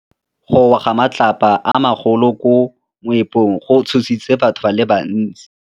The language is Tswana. Go wa ga matlapa a magolo ko moepong go tshositse batho ba le bantsi.